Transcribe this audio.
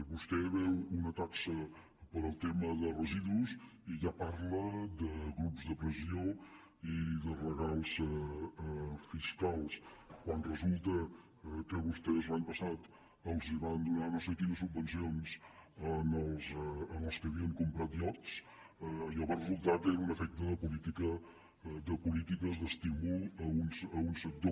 vostè veu una taxa per al tema de residus i ja parla de grups de pressió i de regals fiscals quan resulta que vostès l’any passat els van donar no sé quines subvencions als que havien comprat iots allò va resultar que era un efecte de polítiques d’estímul a un sector